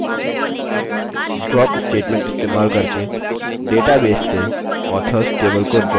4 drop statement इस्तेमाल करके database से authors table को drop करें